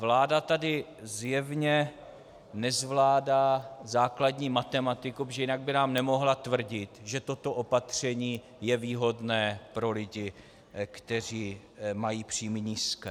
Vláda tady zjevně nezvládá základní matematiku, protože jinak by nám nemohla tvrdit, že toto opatření je výhodné pro lidi, kteří mají příjmy nízké.